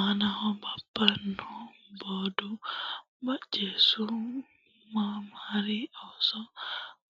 aanaho buubbanna Boodu Bocceessu maamari Ooso